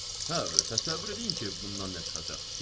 Hə, təsəvvür eləyin ki, bundan nə çıxacaq.